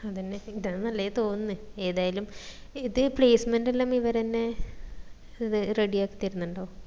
അതന്നെ ഇതാന്ന് നല്ലെന്ന് തോന്നിന്ന് ഏതായാലും ഇത് placement എല്ലും ഇവരെന്നെ ready ആക്കി തരുന്നുണ്ടോ